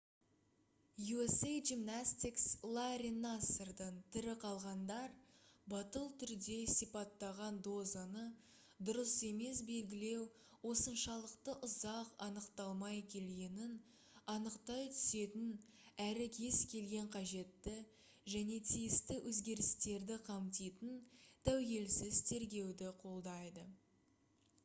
usa gymnastics ларри нассардан тірі қалғандар батыл түрде сипаттаған дозаны дұрыс емес белгілеу осыншалықты ұзақ анықталмай келгенін анықтай түсетін әрі кез келген қажетті және тиісті өзгерістерді қамтитын тәуелсіз тергеуді қолдайды